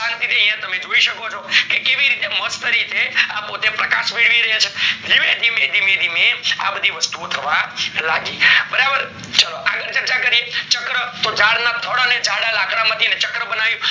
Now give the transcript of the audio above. શાંતિ થી તમે યા જોય શકો છો કે કેવી રીતે મસ્ત રીતે પોતે પ્રકાશ મેળવે રાયે છે ધીમે ધીમે ધીમે આ બધી વસ્તુ ઓ થવા લાગી બરાબર ચાલો આગળ ચર્ચા કરીએ ચક્ર તો જાડ ના થળ અને જળ લાકડા માંથી ચક્ર બનાવ્યું